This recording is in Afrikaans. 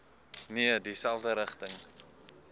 nee dieselfde rigting